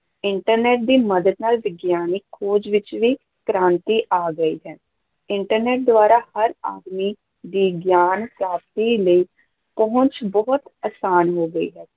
Internet ਦੀ ਮਦਦ ਨਾਲ ਵਿਗਿਆਨਿਕ ਖੋਜ ਵਿੱਚ ਵੀ ਕ੍ਰਾਂਤੀ ਆ ਗਈ ਹੈ internet ਦੁਆਰਾ ਹਰ ਆਦਮੀ ਦੀ ਗਿਆਨ ਪ੍ਰਾਪਤੀ ਲਈ ਪਹੁੰਚ ਬਹੁਤ ਅਸਾਨ ਹੋ ਗਈ ਹੈ।